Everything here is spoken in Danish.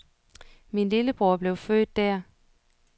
Min lillebror blev født der.